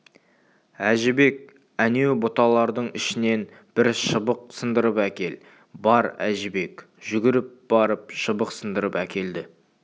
әжібек әнеу бұталардың ішінен бір шыбық сындырып әкел бар әжібек жүгіріп барып шыбық сындырып әкелді